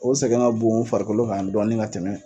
O sɛgɛn ka bon o farikolo kan dɔɔni ka tɛmɛ.